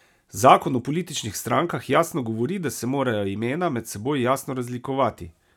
Zakon o političnih strankah jasno govori, da se morajo imena med seboj jasno razlikovati.